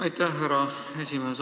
Aitäh, härra esimees!